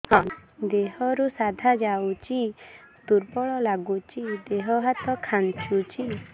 ଦେହରୁ ସାଧା ଯାଉଚି ଦୁର୍ବଳ ଲାଗୁଚି ଦେହ ହାତ ଖାନ୍ଚୁଚି